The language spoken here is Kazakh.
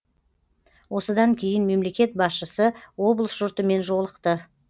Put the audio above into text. осыдан кейін мемлекет басшысы облыс жұртымен жолықты